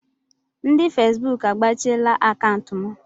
Ndị Fesbuk agbachiela akaụntụ m.